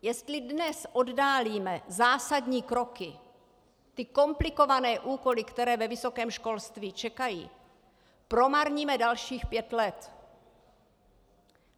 Jestli dnes oddálíme zásadní kroky, ty komplikované úkoly, které ve vysokém školství čekají, promarníme dalších pět let.